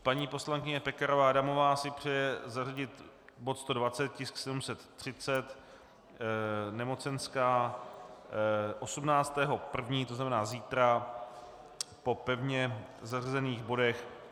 Paní poslankyně Pekarová Adamová si přeje zařadit bod 120, tisk 730, nemocenská, 18. 1., to znamená zítra, po pevně zařazených bodech.